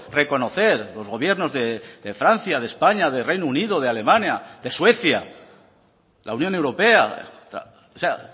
reconocer los gobiernos de francia de españa de reino unido de alemania de suecia la unión europea o sea